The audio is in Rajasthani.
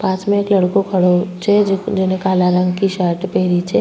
पास में एक लड़को खड़े छे जिने काला रंग की शर्ट पहनी छे।